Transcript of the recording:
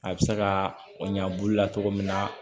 A bɛ se ka o ɲankulu la cogo min na